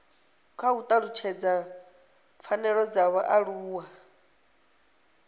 u talutshedza pfanelo dza vhaaluwa